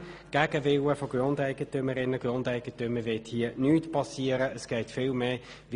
Gegen den Willen von Grundeigentümerinnen und Grundeigentümern wird hier nichts geschehen.